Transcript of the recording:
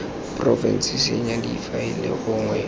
porofense go senya difaele gongwe